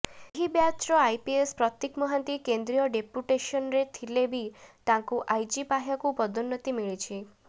ଏହି ବ୍ୟାଚ୍ର ଆଇପିଏସ୍ ପ୍ରତୀକ ମହାନ୍ତି କେନ୍ଦ୍ରୀୟ ଡେପୁଟେସନରେ ଥିଲେ ବି ତାଙ୍କୁ ଆଇଜି ପାହ୍ୟାକୁ ପଦୋନ୍ନତି ମିଳିଛି